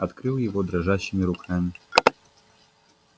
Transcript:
открыл его дрожащими руками